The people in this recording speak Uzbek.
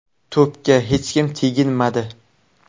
To‘pga hech kim teginmadi.